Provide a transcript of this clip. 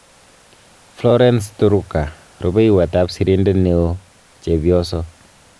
Florence Turuka-Rupeiywot ap sirindet neoo-Chepyoso